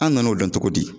An nan'o dɔn cogo di